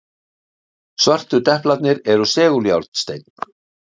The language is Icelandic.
Svörtu deplarnir eru seguljárnsteinn.